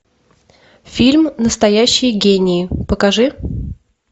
фильм настоящие гении покажи